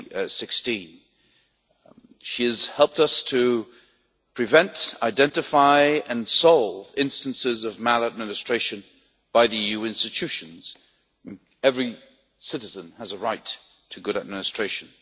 2016. She has helped us to prevent, identify and solve instances of maladministration by the EU institutions, and every citizen has a right to good administration.